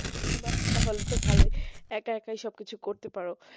বাহ তাহলে তো ভালোই একা একাই সবকিছু করতে পারো